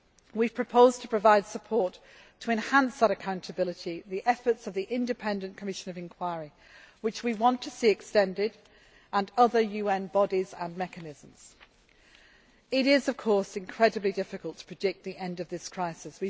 forward. We have proposed to provide support to enhance that accountability, the efforts of the independent commission of inquiry, which we want to see extended, and other UN bodies and mechanisms. It is of course incredibly difficult to predict the end of this